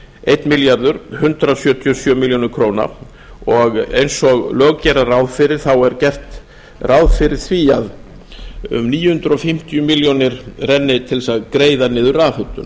einn milljarður hundrað sjötíu og sjö milljónir króna og eins og lög gera ráð fyrir er gert ráð fyrir því að um níu hundruð fimmtíu milljónir renni til að greiða niður rafhitun